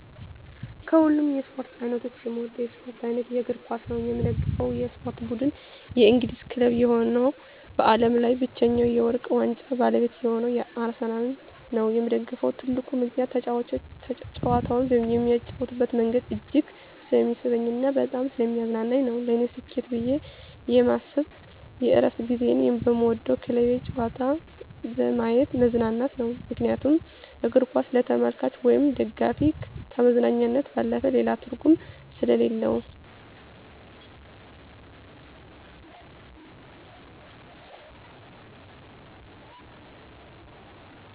ከሀሉም የስፓርት አይነቶች የምወደው የስፖርት አይነት የእግርኳስ ነው። የምደግፈው የስፖርት ብድን የእንግሊዝ ክለብ የሆነው በአለም ላይ ብቻኛ የውርቅ ዋንጫ ባለቤት የሆነው አርሰናል ነው የምደግፍበት ትልቁ ምከንያት ተጫዋቾች ጨዋታውን የሚጫወቱበት መንገድ እጅግ ስለሚስበኝ እና በጣም ሰለሚያዝናናኝ ነው። ለኔ ስኬት ብየ የማስብ የእረፍት ጊዚየን በምወደው ክለቤ ጨዋታ በየማት መዝናናት ነው ምክንያቱም እግርኳስ ለተመልካች ወይም ደጋፊ ከመዝናኛነት ባለፈ ሌላ ትርጉም ሰሌለው።